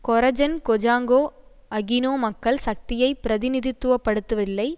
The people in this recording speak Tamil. கொரஜன் கொஜாங்கோ அகினோ மக்கள் சக்தியை பிரதிநிதித்துவப்படுத்தவில்லை